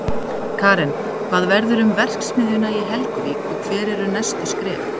Karen, hvað verður um verksmiðjuna í Helguvík og hver eru næstu skref?